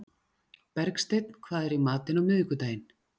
Bergsteinn, hvað er í matinn á miðvikudaginn?